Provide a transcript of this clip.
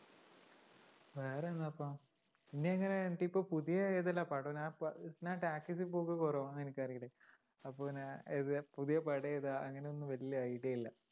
വേറെന്താ ഇപ്പൊ? ഇനി എങ്ങിനെ എനിക്കിപ്പൊ പുതിയ ഏതിലാ പടം? ഞാൻ ഞാനിപ്പോ talkies ല് പോക്ക് കുറവാ നിനക്കറിയില്ലേ? അപ്പോപ്പിന്നെ പുതിയ പടമേതാ അങ്ങനെ ഒന്നും വലിയ idea ഇല്ല